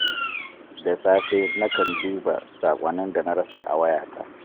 Da safe, nakan duba saƙonnin da na rasa a wayata.